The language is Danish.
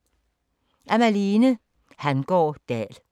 Af Malthe Hangaard Dahl